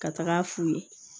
Ka taga f'u ye